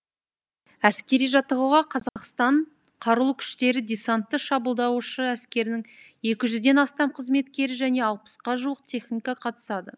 әскери жаттығуға қазақстан қарулы күштері десантты шабуылдаушы әскерінің екі жүзден астам қызметкері және алпысқа жуық техника қатысады